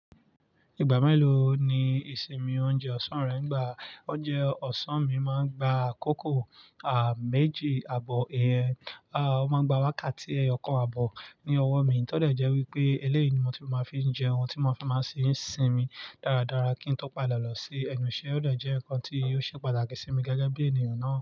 Ìgbà mélòó ni ìsinmi oúnjẹ ọ̀sán rẹ ngbà? Ọ̀jẹ̀ ọ̀sán mi máa ń gba akòkò, à, méjì àbọ̀ ìyẹn. À, ọ máa ń gba wákàtí ẹyọkan àbọ̀ ní ọwọ́ mi. Tọ́ dẹ̀ jẹ́ wípé eléyìí ni mo tún máa fi ń jẹun, tí mo fi máa ṣì ń sinmi dáradára kí ń tọ́ padà lọ sí ẹnu iṣẹ́. Ó dẹ̀ jẹ́ nkán tí ó ṣe pàtàkì sí mi gẹ́gẹ́ bí ènìyàn náà.